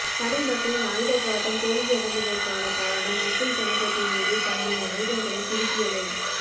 தமிழ் மக்களின் ஆயுதப் போராட்டம் தோல்வியடைந்தமைக்கானகாரணம் முஸ்லிம் சமூகத்தின் மீது தங்களின் ஆயுதங்களை திருப்பியமை